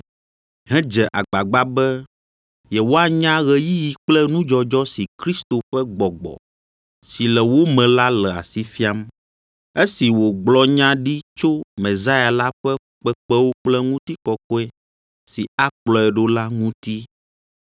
hedze agbagba be yewoanya ɣeyiɣi kple nudzɔdzɔ si Kristo ƒe Gbɔgbɔ si le wo me la le asi fiam, esi wògblɔ nya ɖi tso Mesia la ƒe fukpekpewo kple ŋutikɔkɔe si akplɔe ɖo la ŋuti.